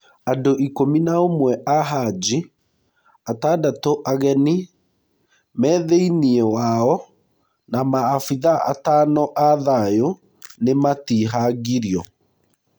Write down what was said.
Andũikũmi na ũmwe ahaji atandatũageni me theiniĩ wao na maabithaa atano athayu nĩnatihangirio